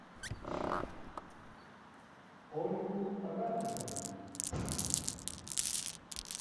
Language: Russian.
ольгу рафиковну